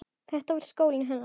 Þetta var skólinn hennar.